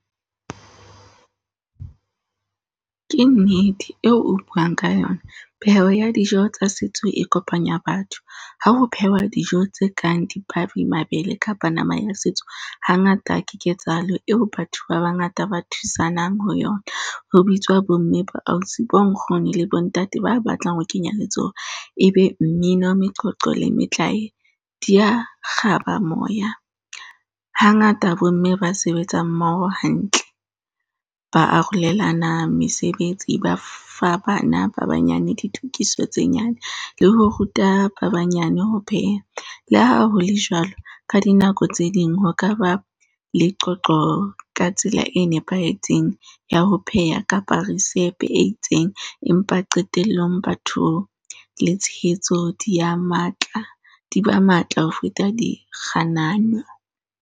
Ke nnete eo o buang ka yona. Pheho ya dijo tsa setso e kopanya batho ha ho phehwa dijo tse kang dipabi, mabele kapa nama ya setso, hangata ke ketsahalo eo batho ba bangata ba thusanang ho yona. Ho bitswa bo mme, bo ausi, bo nkgono, le bo ntate ba batlang ho kenya letsoho e be mmino, meqoqo le metlae di ya kgaba moya. Hangata bo mme ba sebetsa mmoho hantle, ba arolelana mesebetsi ba fa bana ba banyane ditokiso tse nyane, le ho ruta ba banyane ho pheha. Le ha hole jwalo, ka dinako tse ding ho ka ba le qoqo ka tsela e nepahetseng ya ho pheha kapa risepe e itseng, empa qetellong batho le tshehetso dibya matla, di ba matla ho feta dikganano.